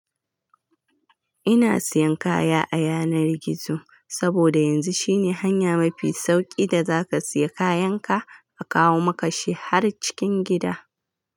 Ina siyan kaya a yanar gizo, saboda yanzu shine hanya mafi sauki da zaka siya kayan ka a kawo maka shi har cikin gida.